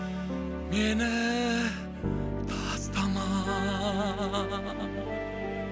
мені тастама